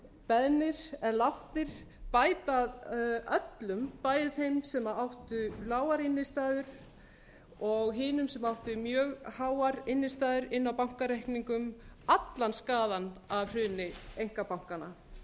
beðnir eða látnir bæta öllum bæði þeim sem áttu lágar innstæður og hinum sem áttu mjög háar innstæður inni á bankareikningum allan skaðann af hruni einkabankanna